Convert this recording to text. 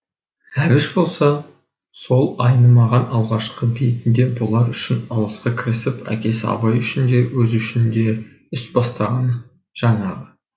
әбіш болса сол айнымаған алғашқы бетінде бұлар үшін алысқа кірісіп әкесі абай үшін де өзі үшін де іс бастағаны жаңағы